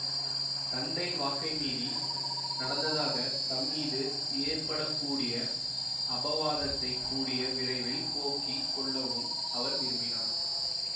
தந்தையின் வாக்கை மீறி நடந்ததாகத் தம் மீது ஏற்பட கூடிய அபவாதத்தைக் கூடிய விரைவில் போக்கிக் கொள்ளவும் அவர் விரும்பினார்